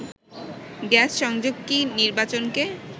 gas সংযোগ কি নির্বাচনকে